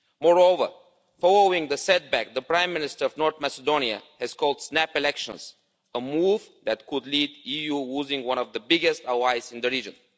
Moreover, following the setback, the Prime Minister of North Macedonia has called snap elections a move that could lead to the EU losing one of its biggest allies in the region.